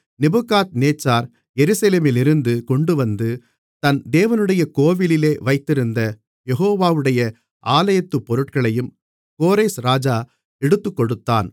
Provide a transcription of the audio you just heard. Nebuchadnezzar எருசலேமிலிருந்து கொண்டுவந்து தன் தேவனுடைய கோவிலிலே வைத்திருந்த யெகோவாவுடைய ஆலயத்து பொருட்களையும் கோரேஸ் ராஜா எடுத்துக்கொடுத்தான்